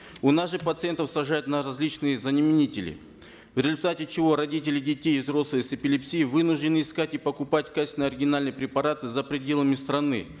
у нас же пациентов сажают на различные заменители в результате чего родители детей и взрослые с эпилепсией вынуждены искать и покупать качественные оригинальные препараты за пределами страны